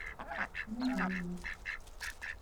княгинино